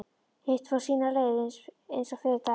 Hitt fór sína leið eins og fyrri daginn.